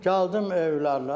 Gəldim evlərinə.